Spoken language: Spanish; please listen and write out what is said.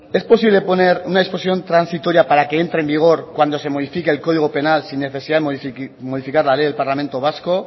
es posible poner una disposición transitoria para que entre en vigor cuando se modifique el código penal sin necesidad de modificar la ley del parlamento vasco